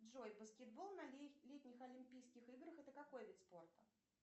джой баскетбол на летних олимпийских играх это какой вид спорта